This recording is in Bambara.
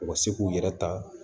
U ka se k'u yɛrɛ ta